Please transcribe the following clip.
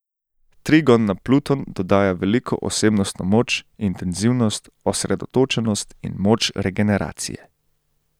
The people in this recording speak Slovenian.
Trigon na Pluton dodaja veliko osebnostno moč, intenzivnost, osredotočenost in moč regeneracije.